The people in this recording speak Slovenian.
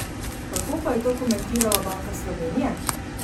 Kako pa je to komentirala Banka Slovenije?